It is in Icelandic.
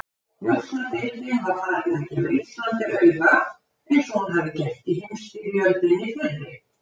Njósnadeildin var farin að gefa Íslandi auga, eins og hún hafði gert í heimsstyrjöldinni fyrri.